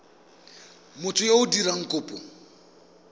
motho yo o dirang kopo